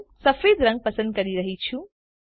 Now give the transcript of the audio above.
હું સફેદ પસંદ કરી રહ્યી છું